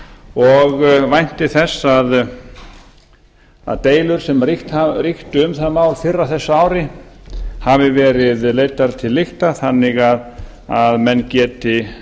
og vænti þess að deilur sem ríktu um það mál fyrr á þessu ári hafi meira leiddar til lykta þannig að menn geti